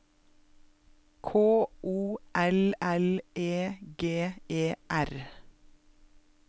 K O L L E G E R